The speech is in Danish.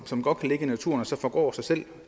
som godt kan ligge i naturen og så forgå af sig selv